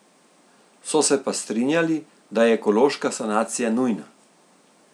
So se pa strinjali, da je ekološka sanacija nujna.